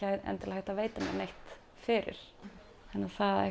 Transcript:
hægt að veita mér neitt fyrir þannig